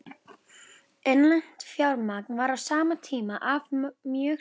Innlent fjármagn var á sama tíma af mjög skornum skammti.